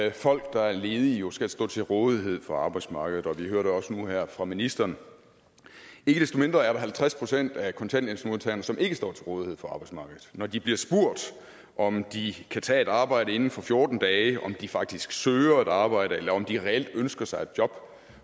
at folk der er ledige jo skal stå til rådighed for arbejdsmarkedet og vi hører det også nu her fra ministeren ikke desto mindre er der halvtreds procent af kontanthjælpsmodtagerne som ikke står til rådighed for arbejdsmarkedet når de bliver spurgt om de kan tage et arbejde inden for fjorten dage om de faktisk søger et arbejde eller om de reelt ønsker sig et job